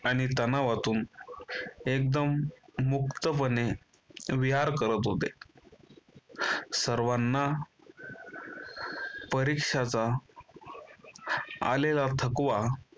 आणि तणावातून एकदम मुक्तपणे विहार करत होते. सर्वांना परिक्षाचा आलेला थकवा